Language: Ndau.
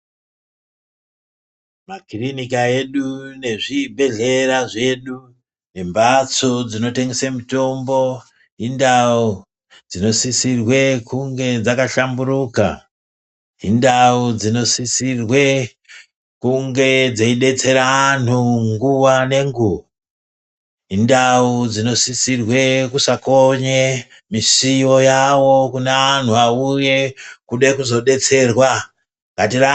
Makirinika edu nezvibhedhlera zvedu nembatso dzinotengesa mutombo hindawo dzinosisirwe kunge dzakashamburuka hindawo dzinosisirwe kunge dzichibetsera anhu nguva nenguva hindawo dzinosisirwe kusakonye misiwo yawo kune anhu awuye kuda kuzobetserwa ngatirambe.....